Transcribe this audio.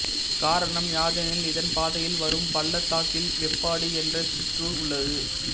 காரணம் யாதெனில் இதன் பாதையில் வரும் பள்ளத்தாக்கில் வேப்பாடி என்ற சிற்றுார் உள்ளது